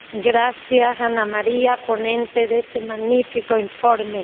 Gracias, Anna Maria, ponente de este magnífico informe.